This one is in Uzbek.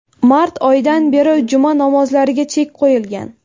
Mart oyidan beri juma namozlariga chek qo‘yilgan .